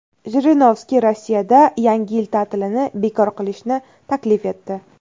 Jirinovskiy Rossiyada Yangi yil ta’tilini bekor qilishni taklif etdi.